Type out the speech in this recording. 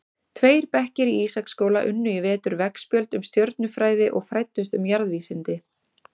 Tveir bekkir í Ísaksskóla unnu í vetur veggspjöld um stjörnufræði og fræddust um jarðvísindi.